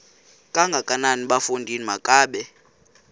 kangakanana bafondini makabe